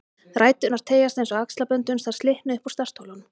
Ræturnar teygjast eins og axlabönd uns þær slitna upp úr startholunum